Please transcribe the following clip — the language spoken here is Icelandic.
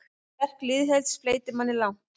Sterk liðsheild fleytir þeim langt.